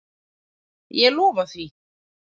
Ég lofa því.